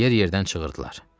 Yer-yerdən çığırdılar.